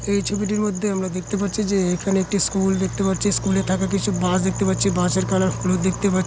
এই ছবিটির মধ্যে আমরা দেখতে পাচ্ছি যে এখানে একটি স্কুল দেখতে পারছি স্কুল -এ থাকা কিছু বাস দেখতে পাচ্ছি বাস এর কালার হলুদ দেখতে পা--